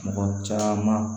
Mɔgɔ caman